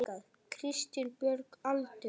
Kristín Björg Aldur?